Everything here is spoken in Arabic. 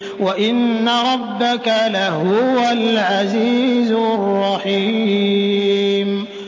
وَإِنَّ رَبَّكَ لَهُوَ الْعَزِيزُ الرَّحِيمُ